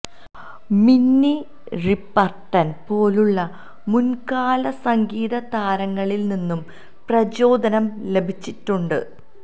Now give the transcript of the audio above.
മിന്നി റിപർട്ടൺ പോലുള്ള മുൻകാല സംഗീത താരങ്ങളിൽ നിന്നും പ്രചോദനം ലഭിച്ചിട്ടുണ്ട്